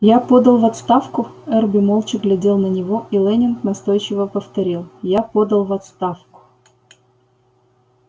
я подал в отставку эрби молча глядел на него и лэннинг настойчиво повторил я подал в отставку